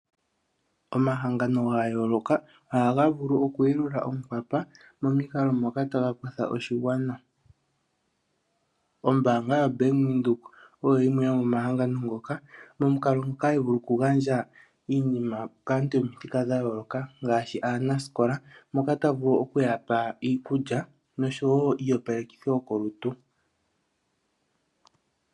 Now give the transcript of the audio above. Omahangano ga yooloka ohaga vulu okuyelula onkwapa momikalo moka taga kwatha oshigwana. Ombaanga ya Bank Windhoek oyo yimwe yomomahangano ngoka momukalo ngoka hayi vulu okugandja iinima kaantu yomithika dha yooloka, ngaashi aanasikola moka taya vulu okuya pa iikulya noshowo iiyopalekithi yokolutu.